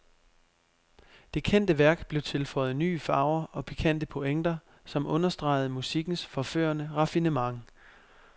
Det kendte værk blev tilføjet nye farver og pikante pointer, som understregede musikkens forførende raffinement.